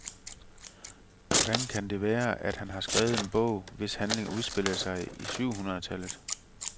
Hvordan kan det være, at han har skrevet en bog, hvis handling udspiller sig i syv hundrede tallet.